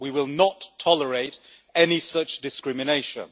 We will not tolerate any such discrimination.